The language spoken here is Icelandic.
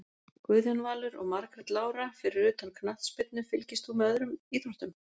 Guðjón Valur og Margrét Lára Fyrir utan knattspyrnu, fylgist þú með öðrum íþróttum?